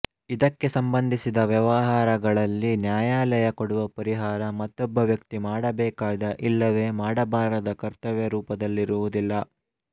ಇದಕ್ಕೆ ಸಂಬಂಧಿಸಿದ ವ್ಯವಹಾರಗಳಲ್ಲಿ ನ್ಯಾಯಾಲಯ ಕೊಡುವ ಪರಿಹಾರ ಮತ್ತೊಬ್ಬ ವ್ಯಕ್ತಿ ಮಾಡಬೇಕಾದ ಇಲ್ಲವೆ ಮಾಡಬಾರದ ಕರ್ತವ್ಯರೂಪದಲ್ಲಿರುವುದಿಲ್ಲ